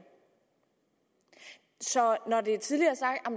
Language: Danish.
så når det tidligere